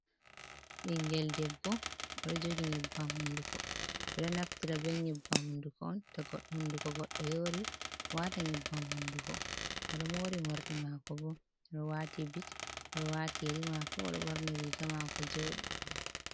Bingel debbo, odo jogi nyebbam hunduko ɓeɗo naftira be nyebbam hunduko on to hunduko goddo yori, wata nyebbam hunduko. odo mori morɗi makobo, odo wati bit odo wati yeri mako, borni riga mako joɗi.